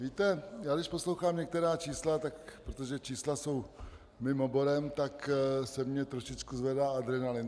Víte, já když poslouchám některá čísla, protože čísla jsou mým oborem, tak se mi trošičku zvedá adrenalin.